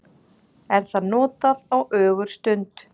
er það notað á ögurstund